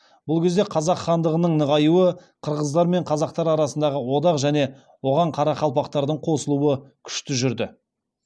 бұл кезде қазақ хандығының нығаюы қырғыздар мен қазақтар арасындағы одақ және оған қарақалпақтардың қосылуы күшті жүрді